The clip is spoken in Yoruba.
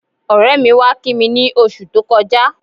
Ọ̀rẹ́ mi wá kí mi ní oṣù tó kọjá